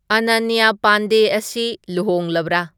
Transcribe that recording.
ꯑꯅꯅ꯭ꯌꯥ ꯄꯥꯟꯗꯦ ꯑꯁꯤ ꯂꯨꯍꯣꯡꯂꯕ꯭ꯔꯥ